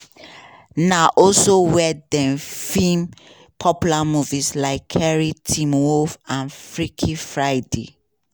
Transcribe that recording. na also wia dem feem popular movies like carrie teen wolf and freaky friday.